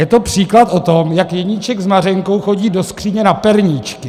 Je to příklad o tom, jak Jeníček s Mařenkou chodí do skříně na perníčky.